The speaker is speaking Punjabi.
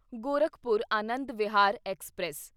ਗੋਰਖਪੁਰ ਆਨੰਦ ਵਿਹਾਰ ਐਕਸਪ੍ਰੈਸ